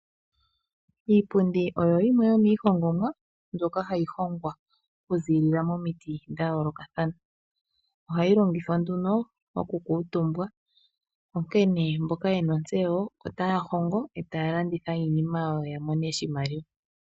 Iipundi oyo yimwe yomiihongomwa, mbyoka hayi hongwa okuzilila momiti dha yoolokathana. Ohayi longithwa nduno okukuutumba. Onkene mboka yena ontseyo otaya hongo e taya landitha iinima yawo ya mone mo oshimaliwa.